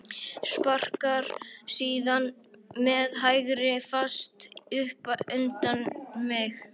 Sparkar síðan með hægri fæti upp undir mig.